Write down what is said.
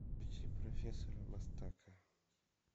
включи профессора мастака